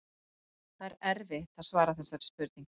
Það er erfitt að svara þessari spurningu.